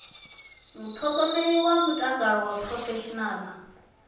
muṱhogomeli wa mutakalo wa phurofeshinala